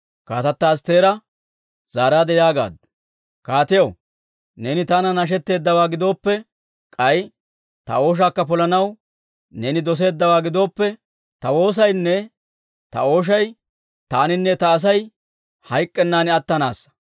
Kaatata Astteera zaaraadde yaagaaddu; «Kaatiyaw, neeni taanan nashetteeddawaa gidooppe, k'ay ta ooshaakka polanaw neeni doseeddawaa gidooppe, ta woosaynne ta ooshay taaninne ta Asay hayk'k'ennan attanaassa.